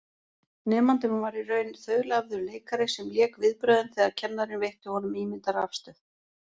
Nemandinn var í raun þaulæfður leikari sem lék viðbrögðin þegar kennarinn veitti honum ímyndað rafstuð.